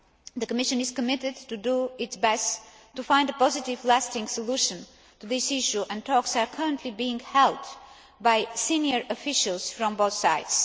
The Commission is committed to doing its best to find a positive and lasting solution to this issue, and talks are currently being held by senior officials from both sides.